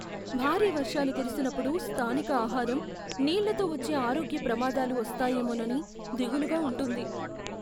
భారీ వర్షాలు కురిసినప్పుడు స్థానిక ఆహారం, నీళ్ళతో వచ్చే ఆరోగ్య ప్రమాదాలు వస్తాయేమోనని దిగులుగా ఉంటుంది.